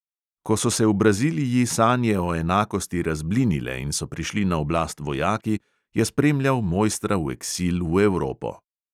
Ko so se v braziliji sanje o enakosti razblinile in so prišli na oblast vojaki, je spremljal mojstra v eksil v evropo.